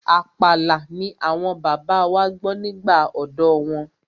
Àpàlà ni àwọn bàbá wa gbọ́ nígbà ọ̀dọ́ wọn.